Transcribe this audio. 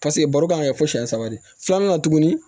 Paseke baro kan ka kɛ fo siɲɛ saba de filanan na tuguni